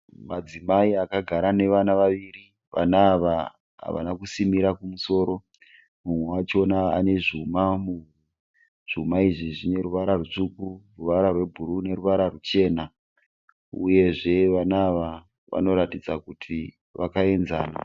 Madzimai akagara nevana vaviri. Vana ava havana kusimira kumusoro, mumwe wachona ane zvuma muhuro. Zvuma izvi zvine ruvara rutsvuku, ruvara rwebhuruu neruvara ruchena, uyezve vana ava vanoratidza kuti vakayenzana.